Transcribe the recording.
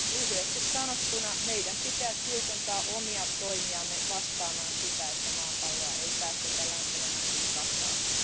Lyhyesti sanottuna meidän pitää tiukentaa omia toimiamme vastaamaan sitä, että maapalloa ei päästetä lämpenemään yli kahta astetta.